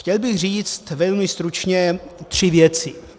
Chtěl bych říct velmi stručně tři věci.